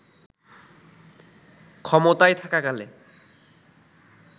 ক্ষমতায় থাকাকালে